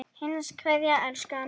HINSTA KVEÐJA Elsku amma.